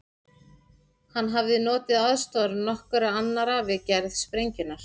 Hann hafði notið aðstoðar nokkurra annarra við gerð sprengjunnar.